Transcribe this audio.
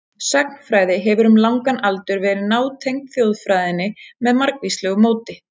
Sagnfræði hefur um langan aldur verið nátengd þjóðfræðinni með margvíslegu móti.